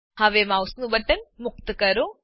હવે માઉસનું બટન મુક્ત કરો